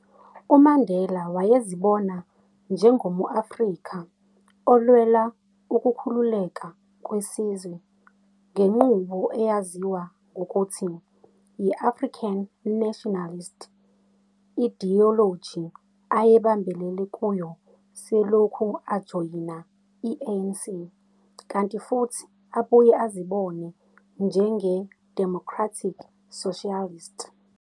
UMandela wayezibona njengomu-Afrika olwela ukukhululeka kwesizwe ngenqubo eyaziwa ngokuthi yi-African nationalist, i-idiyoloji ayebambelele kuyo selokhu ajoyina i-ANC, kanti futhi abuye azibone njenge-democratic socialist.